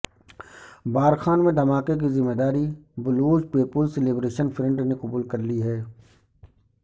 بارکھان میں دھماکے کی ذمہ داری بلوچ پیپلز لبریشن فرنٹ نے قبول کر لی ہے